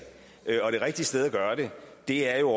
og det rigtige sted at gøre det er jo